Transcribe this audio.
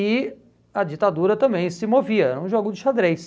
E a ditadura também se movia, era um jogo de xadrez.